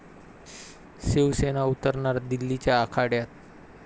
शिवसेना उतरणार दिल्लीच्या आखाड्यात